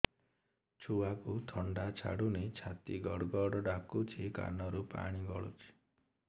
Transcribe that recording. ଛୁଆକୁ ଥଣ୍ଡା ଛାଡୁନି ଛାତି ଗଡ୍ ଗଡ୍ ଡାକୁଚି ନାକରୁ ପାଣି ଗଳୁଚି